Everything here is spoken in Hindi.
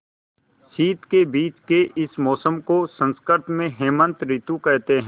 शीत के बीच के इस मौसम को संस्कृत में हेमंत ॠतु कहते हैं